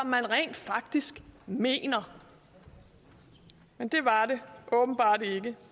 man rent faktisk mener men det var det åbenbart ikke